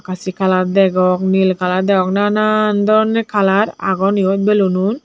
asi color degong nil color degong na na doronne color agon yot balloonun.